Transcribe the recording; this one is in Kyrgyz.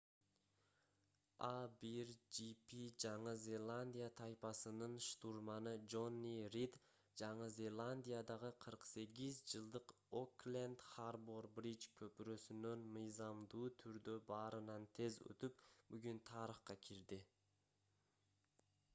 а1gp жаңы зеландия тайпасынын штурманы жонни рид жаңы зеландиядагы 48 жылдык окленд харбор бриж көпүрөсүнөн мыйзамдуу түрдө баарынан тез өтүп бүгүн тарыхка кирди